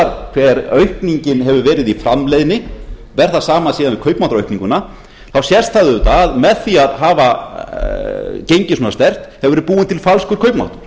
maður skoðar hver aukningin hefur verið í framleiðni og ber það saman síðan við kaupmáttaraukninguna sést það auðvitað að með því að hafa gengið svona sterkt hefur verið búinn til falskur kaupmáttur